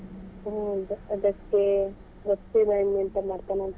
ಹ್ಮ್ ಅದಕ್ಕೆ ಗೊತ್ತಿಲ್ಲ ಇನ್ನು ಎಂತ ಮಾಡ್ತಾನೆ ಅಂತ.